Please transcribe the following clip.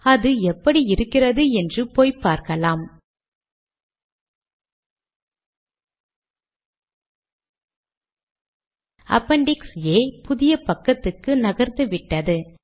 இது ஒரு புதிய பத்திக்கு சென்று விட்டது